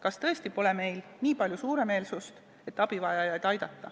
Kas tõesti pole meil nii palju suuremeelsust, et abivajajaid aidata?